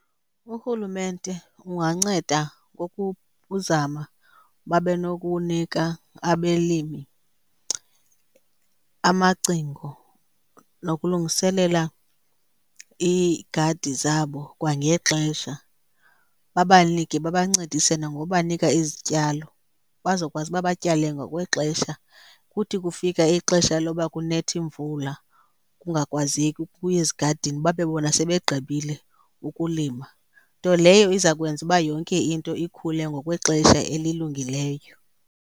Urhulumente unganceda uzama babe nokunika abelimi amacingo nokulungiselela iigadi zabo kwangexesha. Babanike, babancedise nangobanika izityalo bazokwazi uba batyale ngokwexesha. Kuthi kufika ixesha loba kunetha iimvula kungakwazeki ukuya ezigadini, babe bona sebegqibile ukulima. Nto leyo iza kwenza uba yonke into ikhule ngokwexesha elilungileyo.